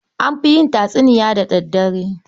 An fi yin tatsuniya da daddare.